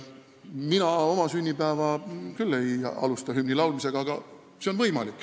Mina küll ei alusta oma sünnipäeva hümni laulmisega, aga see on võimalik.